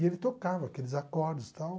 E ele tocava aqueles acordes e tal.